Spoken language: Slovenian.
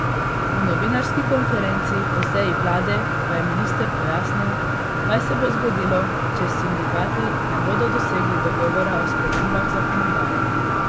Na novinarski konferenci po seji vlade pa je minister pojasnil, kaj se bo zgodilo, če s sindikati ne bodo dosegli dogovora o spremembah zakonodaje.